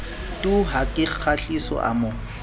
tu ha kgahliso a mo